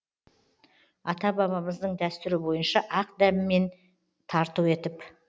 ата бабамыздың дәстүрі бойынша ақ дәммен тарту етіп